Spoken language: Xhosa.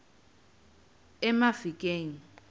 emafikeng